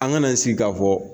An kan'an sigi k'a fɔ